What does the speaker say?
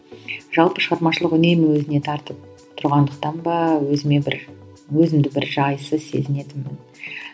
жалпы шығармашылық үнемі өзіне тартып тұрғандықтан ба өзіме бір өзімді бір жайсыз сезінетінмін